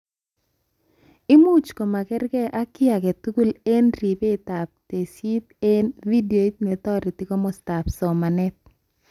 Imuch komokerkeikee ak kiy aketugul eng ribetab tesisyit eng vidoit netoreti komostaab somanet